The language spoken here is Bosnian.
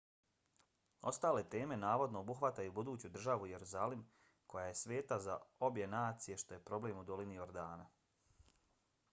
ostale teme navodno obuhvataju buduću državu jerusalim koja je sveta za obje nacije što je problem u dolini jordana